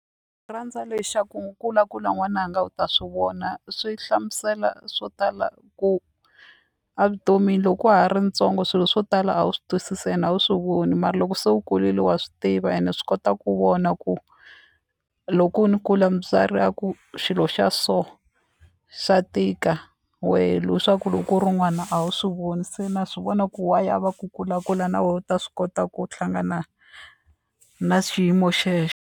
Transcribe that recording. Ni rhandza lexaku kulakula n'wananga u ta swi vona, swi hlamusela swo tala ku a vutomini loko wa ha ri ntsongo swilo swo tala a wu swi twisisi ene a wu swi voni mara loko se u kurile wa swi tiva ene swi kota ku vona ku loko ni kula mutswari a ku xilo xa so xa tika wehe swa ku loko u ri n'wana a wu swi voni se na swivona ku why a va ku kulakula na wehe u ta swi kota ku hlangana na xiyimo xexo.